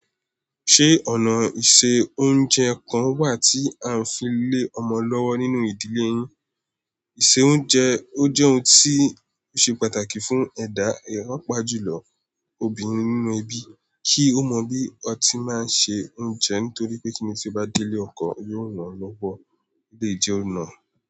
Ṣé ọ̀nà ìse oúnjẹ kan wà tí à ń fi lé ọmọ lọ́wọ́ nínú ìdílé yín? Ìse oúnjẹ, ó jẹ́ ohun tí ṣe pàtàkì fún ẹ̀dá ìrọ́pọ̀ àjùlọ obìnrin nínú ẹbí, kí ó mọ bí ọtí máa ń se oúnjẹ nítorí pé kíni tí ó bá délé ọkọ, yóò rán lọ́wọ́ lè jẹun náà.